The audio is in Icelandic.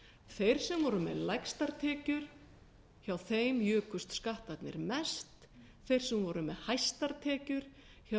þeir sem voru með lægstar tekjur hjá þeim jukust skattarnir mest þeir sem voru með hæstar tekjur hjá